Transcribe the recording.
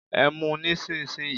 Ẹ mú un nísinsìnyí!